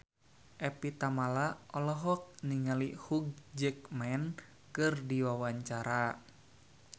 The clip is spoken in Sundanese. Evie Tamala olohok ningali Hugh Jackman keur diwawancara